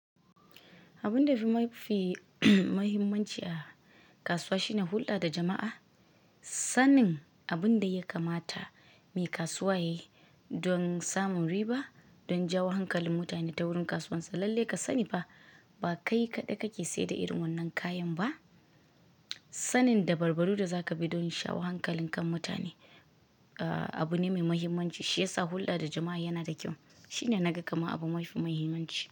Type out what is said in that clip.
Abun da fi mahimmanci a kasuwa shine hulɗa da jama'a. Sanin abin da ya kamata mai kasuwa yayi don samun riba, don jawo hankalin mutane ta wurin kasuwarsa. Lallai ka sani ba kai kaɗai kake sayar da irin wannan kayan ba. Sanin da barbari da zaka bi don shawo hankalin kan mutane abu ne mai mahimmanci. Shi ya sa hulɗa da jama'a yana da kyau. Shi ne na ga kamar abu mafi mahimmanci.